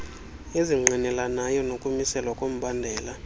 ezingqinelanayo nokumiselwa kombandela